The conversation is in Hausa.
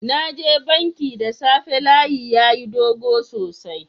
Na je banki da safe, layin yayi dog sosai.